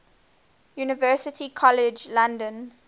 university college london